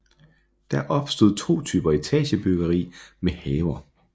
Der opstod to typer etagebyggeri med haver